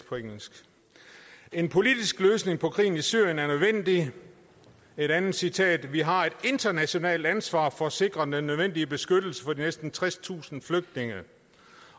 på engelsk en politisk løsning på krigen i syrien er nødvendig et andet citat er vi har et internationalt ansvar for at sikre den nødvendige beskyttelse for de næsten tredstusind flygtninge